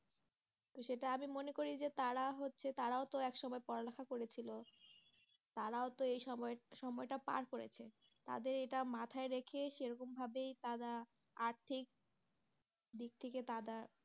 তো সেটা আমি মনে করি যে তারা হচ্ছে তারাও তো এক সময় পড়ালেখা করেছিল তারাও তো এই সময় সময়টা পার করেছে তাদের এটা মাথায় রেখে সেরকমভাবেই তারা আর্থিক দিক থেকে তারা